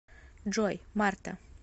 джой марта